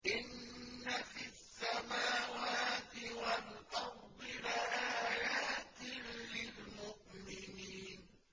إِنَّ فِي السَّمَاوَاتِ وَالْأَرْضِ لَآيَاتٍ لِّلْمُؤْمِنِينَ